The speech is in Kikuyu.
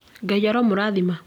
Ngai aromũrathima